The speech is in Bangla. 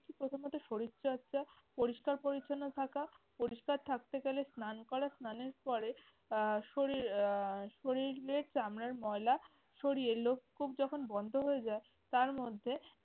প্রথমত শরীর চর্চা, পরিষ্কার-পরিচ্ছন্ন থাকা, পরিষ্কার থাকতে গেলে স্নান করা, স্নানের পরে আহ শরীর আহ শরীরের চামড়ার ময়লা সরিয়ে লোমকূপ যখন বন্ধ হয়ে যায়, তার মধ্যে